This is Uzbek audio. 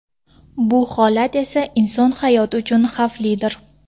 Bu holat esa inson hayoti uchun xavflidir.